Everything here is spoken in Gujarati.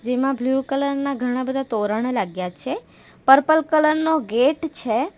જેમાં બ્લુ કલર ના ઘણા-બધા તોરણો લાગ્યા છે પર્પલ કલર નો ગેટ છે.